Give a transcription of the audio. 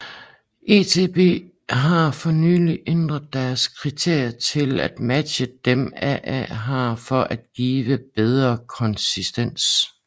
ETB har for nylig ændret deres kriterier til at matche dem AA har for at give bedre konsistens